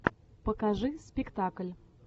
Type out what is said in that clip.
покажи спектакль